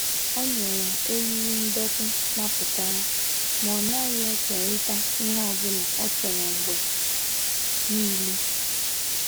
O nyere eriri ndọtị mapụtara ma ọ naghị ekerịta ihe ọ bụla ọ chọrọ mgbe niile.